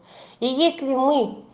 и если мы